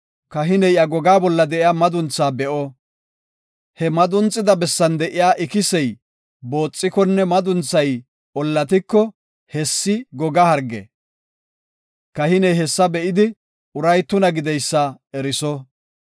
Kahiney iya goga bolla de7iya madunthaa be7o. He madunxida bessan de7iya ikisey booxikonne madunthay ollatiko, hessi goga harge. Kahiney hessa be7idi uray tuna gideysa eriso.